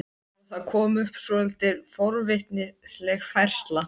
Og það kom upp svolítið forvitnileg færsla.